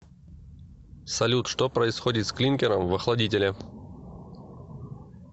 салют что происходит с клинкером в охладителе